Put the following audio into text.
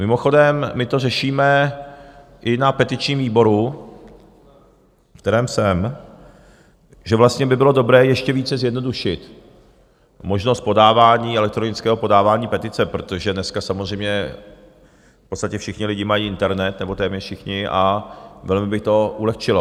Mimochodem, my to řešíme i na petičním výboru, v kterém jsem, že vlastně by bylo dobré ještě více zjednodušit možnost podávání, elektronického podávání petice, protože dneska samozřejmě v podstatě všichni lidé mají internet, nebo téměř všichni, a velmi by to ulehčilo.